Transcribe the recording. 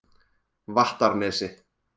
Vattarnesi